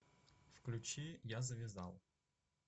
включи я завязал